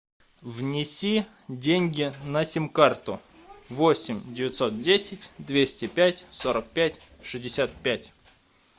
внеси деньги на сим карту восемь девятьсот десять двести пять сорок пять шестьдесят пять